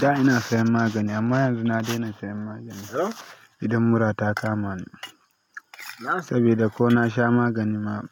Da ina siyan magani amma yanzu na daina siyan magani idan mura ta kama ni sabida ko nasha magani ma